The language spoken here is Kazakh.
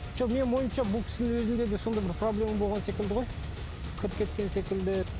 жоқ менің ойымша бұл кісінің өзінде де сондай бір проблема болған секілді ғой кіріп кеткен секілді